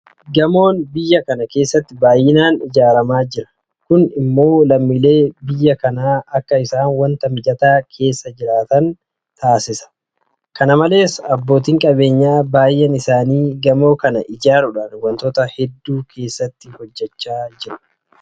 Gamoon biyya kana keessatti baay'inaan ijaaramaa jira. Kun immoo lammiileen biyya kanaa akka isaan waanta mijataa keessa jiraatan isaan taasisuu danda'a. Kana malees abbootiin qabeenyaa baay'een isaanii gamoo kana ijaaruudhaan waantota hedduu keessatti hojjechaa jiru.